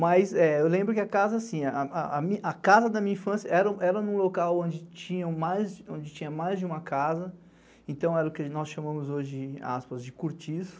Mas, eu lembro que a casa, assim, a casa da minha infância era num local onde tinha mais de uma casa, então era o que nós chamamos hoje, aspas, de cortiço.